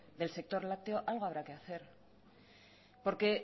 del sector lácteo algo habrá que hacer porque